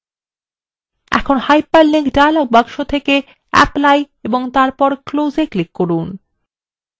এখন hyperlink dialog box থেকে apply click করুন এবং তারপর close এ click করুন